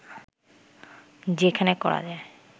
যেখানে করা যায়